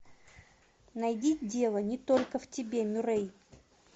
найди дело не только в тебе мюррей